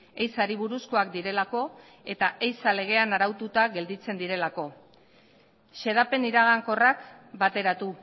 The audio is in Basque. ehizari buruzkoak direlako eta ehiza legean araututa gelditzen direlako xedapen iragankorrak bateratu